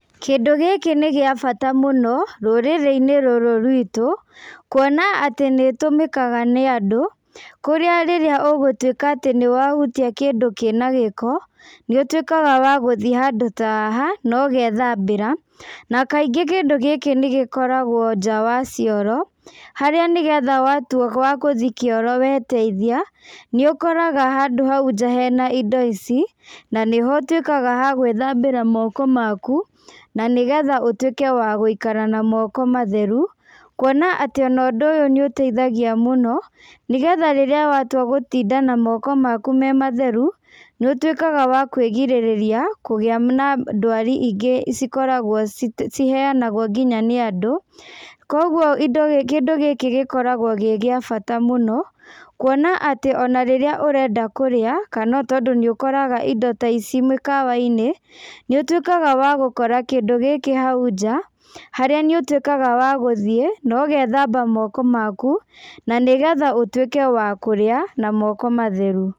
Kĩndũ gĩkĩ nĩ gĩa bata mũno, rũrĩrĩ-inĩ rũrũ rwitũ, kuona atĩ nĩ ĩtũmĩkaga nĩ andũ, kũrĩa rĩrĩa ũgũtuĩka atĩ nĩ wahutia kĩndũ kĩna gĩko, nĩ ũtuĩkaga wa gũthi handũ ta haha, na ũgethambĩra. Na kaingĩ kĩndũ gĩkĩ nĩ gĩkoragwo nja wa cioro, harĩa nĩgetha watua wa gũthiĩ kĩoro weteithia, nĩ ũkoraga handũ hau nja hena indo ici, na nĩho ũtuĩkaga ha gwĩthambĩra moko maku, na nĩ getha ũtuĩke wa gũikara na moko matheru, kuona atĩ ona ũndũ ũyũ nĩ ũteithagia mũno, nĩgetha rĩrĩa watua gũtinda na moko maku me matheru, nĩ ũtuĩkaga wa kwĩgirĩrĩria kũgĩa na ndwari ingĩ cikoragwo ciheanagwo nginya nĩ andũ. Kũguo indo kĩndũ gĩkĩ gĩkoragwo gĩ gĩa bata mũno, kuona atĩ ona rĩrĩa ũrenda kũrĩa, kana tondũ nĩ ũkoraga indo ta ici mĩkawa-inĩ, nĩ ũtuĩkaga wa gũkora kĩndũ gĩkĩ hau nja, harĩa nĩ ũtuĩkaga wa gũthiĩ na ũgethamba moko maku na nĩgetha ũtuĩke wa kũrĩa, na moko matheru.